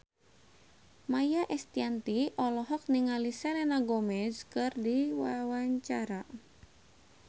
Maia Estianty olohok ningali Selena Gomez keur diwawancara